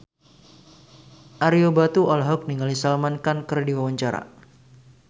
Ario Batu olohok ningali Salman Khan keur diwawancara